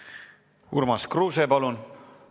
Urmas Kruuse, palun!